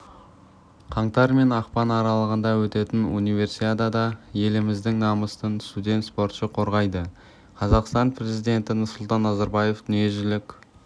қаңтар мен ақпан аралығында өтетін универсиадада еліміздің намысын студент спортшы қорғайды қазақстан президенті нұрсұлтан назарбаев дүниежүзілік